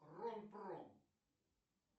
ром пром